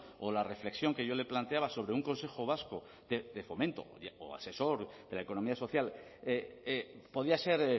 o la reflexión que yo le planteaba sobre un consejo vasco de fomento o asesor de la economía social podía ser